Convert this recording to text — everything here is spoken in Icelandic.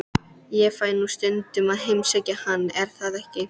Ég fæ nú stundum að heimsækja hann, er það ekki?